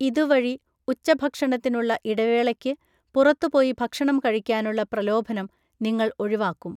ഇതുവഴി, ഉച്ചഭക്ഷണത്തിനുള്ള ഇടവേളയ്ക്ക് പുറത്തുപോയി ഭക്ഷണം കഴിക്കാനുള്ള പ്രലോഭനം നിങ്ങൾ ഒഴിവാക്കും.